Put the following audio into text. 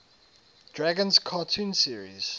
dragons cartoon series